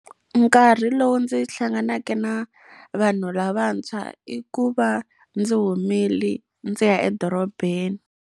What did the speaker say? Nkarhi lowu ndzi hlanganeke na vanhu lavantshwa i ku va ndzi humile ndzi ya edorobeni.